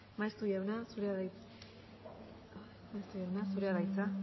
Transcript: maeztu jauna zurea da hitza